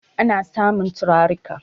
ana samun turarika